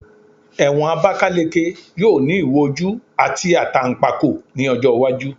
Ewon Abakaleke yoo ni iwo oju ati atanpako ni ojo iwaju